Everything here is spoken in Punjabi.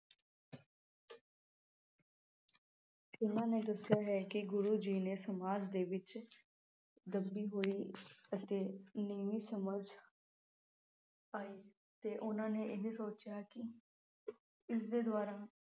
ਉਨ੍ਹਾਂ ਨੇ ਦੱਸਿਆ ਹੈ ਕਿ ਗੁਰੂ ਜੀ ਨੇ ਸਮਾਜ ਦੇ ਵਿਚ ਦੱਬੀ ਹੋਈ ਅਤੇ ਨੀਵੀਂ ਸਮਝ ਪਾਈ ਤੇ ਉਨ੍ਹਾਂ ਨੇ ਇਹ ਸਚਿਆ ਕਿ ਇਸ ਦੇ ਦੁਆਰਾ